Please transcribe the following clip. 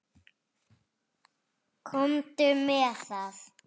Komdu með það.